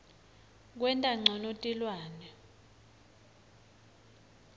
kwenta ncono tilwane